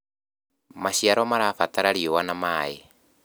maciaro marabatara riũa na maĩ